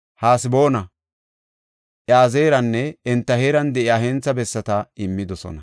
Haseboona, Iyazeeranne enta heeran de7iya hentha bessata immidosona.